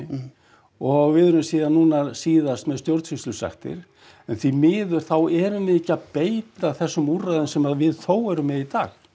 og við erum síðan núna síðast með stjórnsýslusektir en því miður þá erum við ekki að beita þessum úrræðum sem við þó erum með í dag